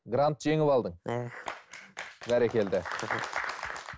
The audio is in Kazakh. грант жеңіп алдың иә бәрекелді рахмет